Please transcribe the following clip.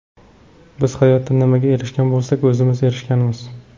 Biz hayotda nimaga erishgan bo‘lsak, o‘zimiz erishganmiz.